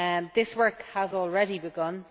This work has already begun.